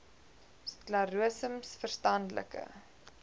sklerose ms verstandelike